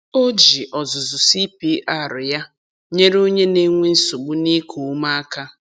O ji ọzụzụ CPR ya nyere onye na-enwe nsogbu n'iku ume aka.